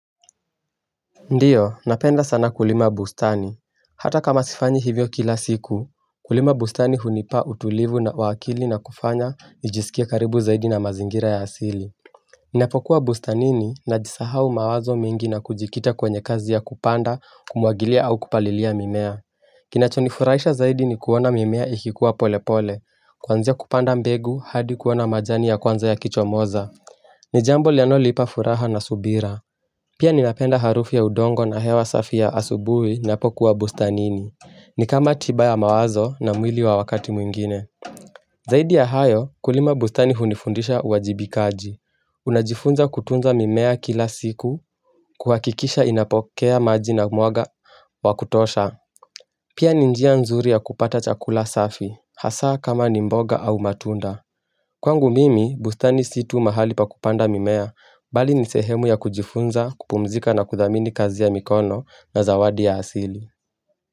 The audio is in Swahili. Ndio, napenda sana kulima bustani Hata kama sifanyi hivyo kila siku Kulima bustani hunipa utulivu na wakili na kufanya nijisikie karibu zaidi na mazingira ya asili Ninapokuwa bustanini na jisahau mawazo mingi na kujikita kwenye kazi ya kupanda Kumuagilia au kupalilia mimea Kinachonifurahisha zaidi ni kuona mimea ikikuwa pole pole Kwanzia kupanda mbegu hadi kuona majani ya kwanza yakichomoza ni jambo linalo lipa furaha na subira Pia ninapenda harufi ya udongo na hewa safi ya asubuhi napokuwa bustanini ni kama tibaya mawazo na mwili wa wakati mwingine Zaidi ya hayo kulima bustani hunifundisha uwajibikaji Unajifunza kutunza mimea kila siku kuhakikisha inapokea maji na mwanga wakutosha Pia ni njia nzuri ya kupata chakula safi hasaa kama ni mboga au matunda Kwangu mimi, bustani si tuu mahali pa kupanda mimea, bali nisehemu ya kujifunza, kupumzika na kuthamini kazi ya mikono na zawadi ya asili.